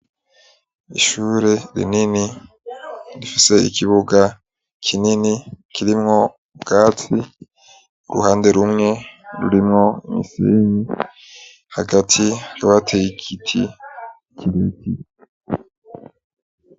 Ishure rinini rifise ikibuga kinini kirimwo ubwatsi uruhande rumwe rurimwo umusenyi hagati ryowateyikiti kireti